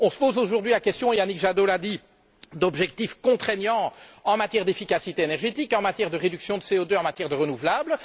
On se pose aujourd'hui la question Yannick Jadot l'a dit d'objectifs contraignants en matière d'efficacité énergétique, en matière de réduction de CO 2 en matière de renouvelable.